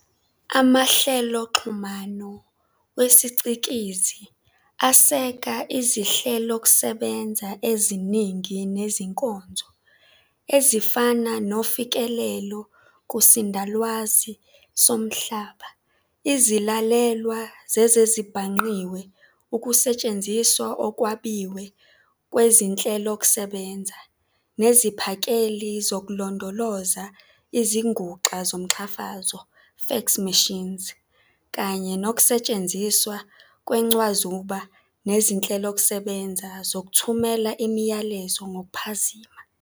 Amahleloxhumano wesicikizi aseka izinhlelokusebenza eziningi nezinkonzo, ezifana nofikelelo kusindalwazi somhlaba, izilalelwa zezezibhangqiwe, ukusetshenziswa okwabiwe kwezinhlelokusebenza neziphakeli zokulondoloza, izinguxa zomqhafazo "fax machines", kanye nokusetshenziswa kwencwazuba nezinhlelokusebenza zokuthumela imiyalezo ngokuphazima.